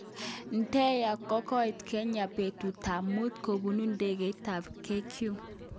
Deya kokoit kenya betut tab mut kobunu indegeit tab KQ.